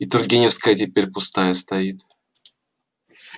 и тургеневская теперь пустая стоит